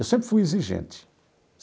Eu sempre fui exigente.